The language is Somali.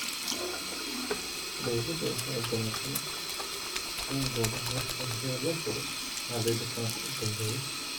Dawladdu waxay ogolaatay in goobaha waxbarashada loo furo ardayda sannadka u dambeeya.